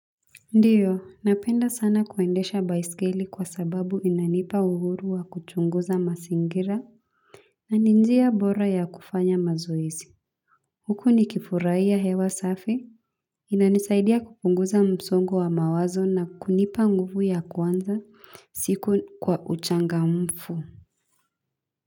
Ndio, napenda sana kuendesha baiskeli kwa sababu inanipa uhuru wa kuchunguza masingira na ni njia bora ya kufanya mazoezi huku nikifurahia hewa safi inanisaidia kupunguza msongo wa mawazo na kunipa nguvu ya kuanza siku kwa uchangamfu.